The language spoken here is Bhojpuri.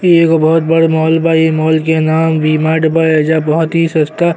इ एगो बहुत बड़ मॉल बा। इ मॉल के नाम वि मार्ट बा। एहिजा बहुत ही सस्ता --